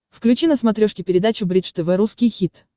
включи на смотрешке передачу бридж тв русский хит